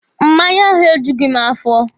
Mmanya ahụ e jughi m afọ.